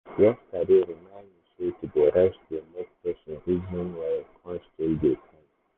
yesterday remind me sey to dey rest dey make person reason well kon still dey kind